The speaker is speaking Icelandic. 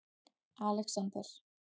Alexander